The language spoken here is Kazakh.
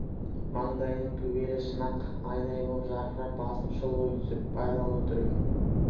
маңдайының төбелі шын-ақ айдай боп жарқырап басын шұлғи түсіп байлаулы тұр екен